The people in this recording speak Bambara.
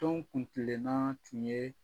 Tɔn kuntilenna tun ye